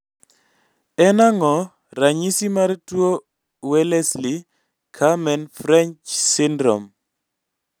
en ang'o ranyisisi mar tuo Wellesley Carmen French syndrome?